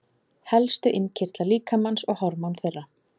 Helstu innkirtlar líkamans og hormón þeirra.